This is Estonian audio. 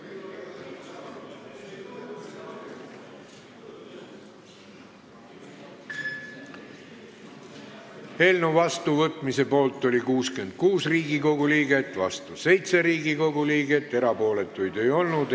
Hääletustulemused Eelnõu vastuvõtmise poolt oli 66 Riigikogu liiget, vastu 7 Riigikogu liiget, erapooletuid ei olnud.